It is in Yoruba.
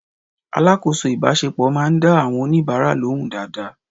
Alákòóso ìbáṣepọ̀ máa ń dá àwọn oníbàárà lóhùn dáadáa.